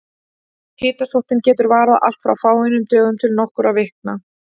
Hitasóttin getur varað allt frá fáeinum dögum til nokkurra vikna.